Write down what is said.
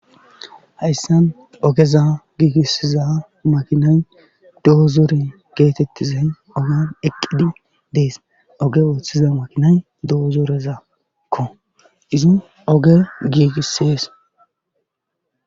Hayssan ogeza giigisiza makinay doozoren geetettizay oge eqqidi dees. Oge wooththiza makinay doozorezakko izin oge giigisees.